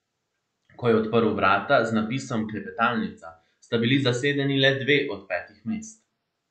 Ko je odprl vrata z napisom Klepetalnica, sta bili zasedeni le dve od petih mest.